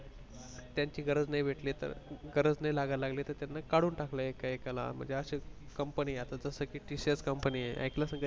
त्यांचि गरज नाही भेटली तर गरज नाही लागायला लागली तर त्यांना काढून टाकायला लागले एका एकाला म्हणजे company जस कि TCScompany आहे